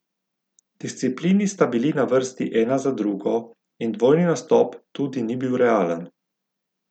Disciplini sta bili na vrsti ena za drugo in dvojni nastop tudi ni bil realen.